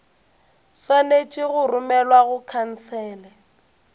swanetše go romelwa go khansele